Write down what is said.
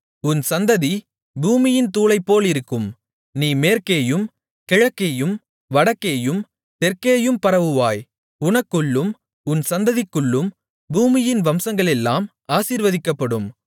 உன் சந்ததி பூமியின் தூளைப்போலிருக்கும் நீ மேற்கேயும் கிழக்கேயும் வடக்கேயும் தெற்கேயும் பரவுவாய் உனக்குள்ளும் உன் சந்ததிக்குள்ளும் பூமியின் வம்சங்களெல்லாம் ஆசீர்வதிக்கப்படும்